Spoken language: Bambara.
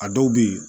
A dɔw bɛ yen